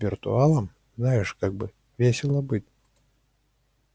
виртуалом знаешь как весело быть